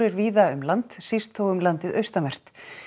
víða um land síst þó um landið austanvert